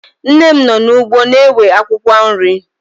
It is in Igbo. Nne m nọ n'ugbo na-ewe akwụkwọ nri